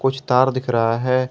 कुछ तार दिख रहा है।